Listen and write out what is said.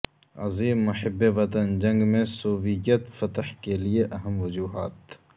عظیم محب وطن جنگ میں سوویت فتح کے لئے اہم وجوہات